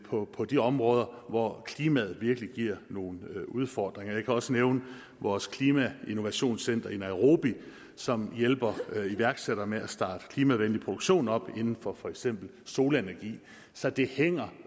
på på de områder hvor klimaet virkelig giver nogle udfordringer jeg kan også nævne vores klimainnovationscenter i nairobi som hjælper iværksættere med at starte klimavenlig produktion op inden for for eksempel solenergi så det hænger